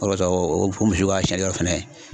o de kɔsɔn o misi ka fana